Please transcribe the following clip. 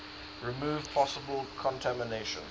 remove possible contamination